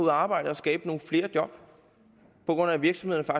at arbejde og skabe nogle flere job på grund af at virksomhederne